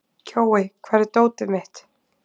Kjói, hvar er dótið mitt?